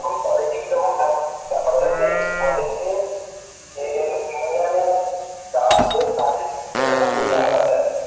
এখন college কি রকম ব্যাপার হয়েছে জানিস্ union যারা আছে তাদের নিজেদের মধ্যে ঝামেলা হয়েছে